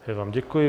Já vám děkuji.